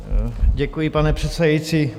Děkuji, pane předsedající.